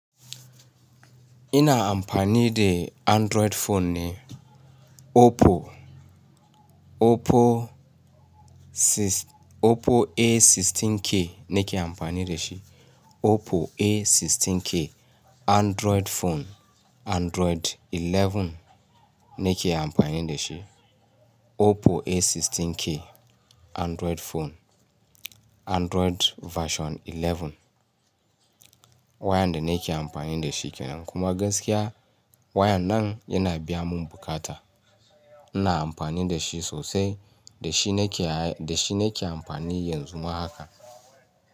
Ina amfani de Android phone ne, Oppo, Oppo A16K na ke amfani da shi. Oppo A16K Android phone, Android 11 ne ke amfani da shi. Oppo A16K Android phone, Android version 11. Wayan da na ke amfani da shi kenan, kuma gaskiya wayan nan yana biya mun bukata. Ina amfani da shi sosai, da shi na ke amfani yanzu ma haka.